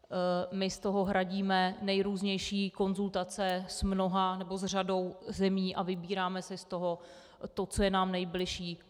My z toho hradíme nejrůznější konzultace s mnoha, nebo s řadou zemí a vybíráme si z toho to, co je nám nejbližší.